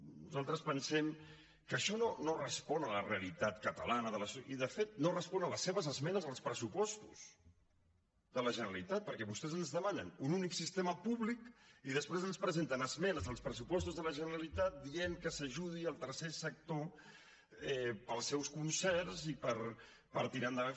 nosaltres pensem que això no respon a la realitat catalana i de fet no respon a les seves esmenes als pressupostos de la generalitat perquè vostès ens demanen un únic sistema públic i després ens presenten esmenes als pressupostos de la generalitat que diuen que s’ajudi el tercer sector per als seus concerts i per tirar endavant